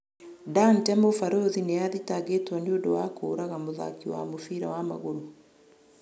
Dante: mũborithi nĩ athitangĩtwo nĩundu wa kũũraga mũthaki wa mũbira wa magũru.